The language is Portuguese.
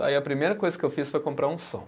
Aí a primeira coisa que eu fiz foi comprar um som.